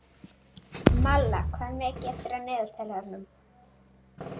Malla, hvað er mikið eftir af niðurteljaranum?